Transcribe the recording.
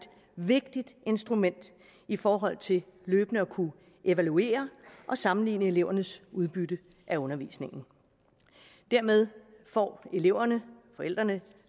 vigtigt instrument i forhold til løbende at kunne evaluere og sammenligne elevernes udbytte af undervisningen dermed får eleverne forældrene